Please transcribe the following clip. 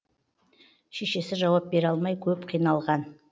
шешесі жауап бере алмай көп қиналған